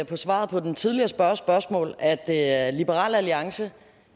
på svaret på den tidligere spørgers spørgsmål at at liberal alliance